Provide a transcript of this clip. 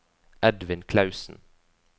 Edvin Klausen